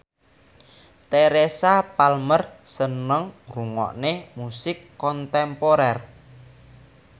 Teresa Palmer seneng ngrungokne musik kontemporer